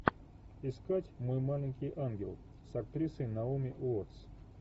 искать мой маленький ангел с актрисой наоми уоттс